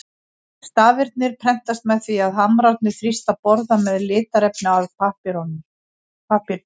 Stafirnir prentast með því að hamrarnir þrýsta borða með litarefni að pappírnum.